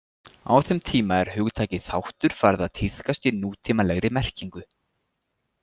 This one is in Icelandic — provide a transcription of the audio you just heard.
Á þeim tíma er hugtakið þáttur farið að tíðkast í nútímalegri merkingu.